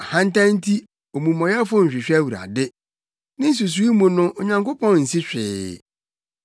Ahantan nti omumɔyɛfo nhwehwɛ Awurade; ne nsusuwii mu no Onyankopɔn nsi hwee.